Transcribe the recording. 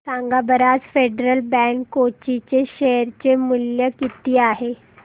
सांगा बरं आज फेडरल बँक कोची चे शेअर चे मूल्य किती आहे